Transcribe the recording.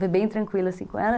Foi bem tranquilo assim com ela.